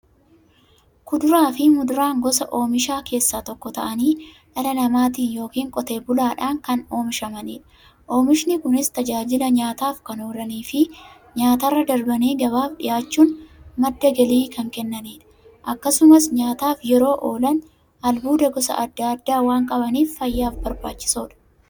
Kuduraafi muduraan gosa oomishaa keessaa tokko ta'anii, dhala namaatin yookiin Qotee bulaadhan kan oomishamaniidha. Oomishni Kunis, tajaajila nyaataf kan oolaniifi nyaatarra darbanii gabaaf dhiyaachuun madda galii kan kennaniidha. Akkasumas nyaataf yeroo oolan, albuuda gosa adda addaa waan qabaniif, fayyaaf barbaachisoodha.